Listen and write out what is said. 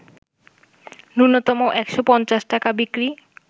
ন্যূনতম ১৫০ টাকা বিক্রি